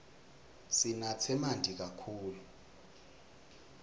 sinatse manti kakhulu